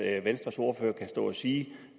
at venstres ordfører kan stå og sige